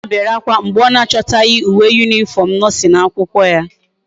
Nneoma bere akwa mgbe o na achotaghi uwe uniform nursing akwukwo